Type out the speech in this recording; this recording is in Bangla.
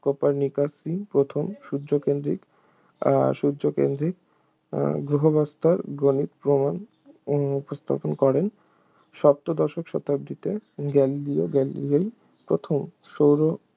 কোপারনিকাসই প্রথম সূর্যকেন্দ্রিক আহ সূর্যকেন্দ্রিক গ্রহব্যবস্থার গাণিত প্রমাণ উপস্থাপন করেন সপ্তদশ শতাব্দীতে গ্যালিলিও গ্যালিলেই প্রথম সৌর